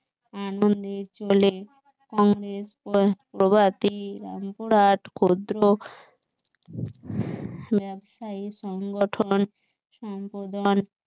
আনন্দের জলে প্রভাতী রামপুরহাট ক্ষুদ্র ব্যবসায়ী সংগঠন